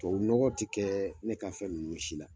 Tubabu nɔgɔ tɛ kɛ ne ka fɛn nunnu si la.